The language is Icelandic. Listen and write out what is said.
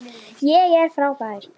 ÉG ER FRÁBÆR.